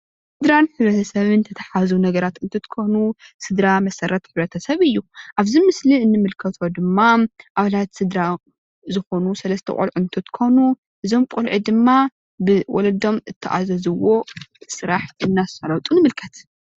ስድራን ሕብረተሰብ ዝተታሓሓዙ ነገራት እንትትኮኑ ስድራ መሰረት ሕብረተሰብ እዩ፡፡ ኣብዚ ምስሊ እንምልከቶ ድማ ኣባላት ስድራ ዝኮኑ ሰለስተ ቆልዑ እንትትኮኑ እዞም ቆልዑ ድማ ብወለዶም እተኣዘዝዎ ስራሕ እናሳለጡ ንምልከት፡፡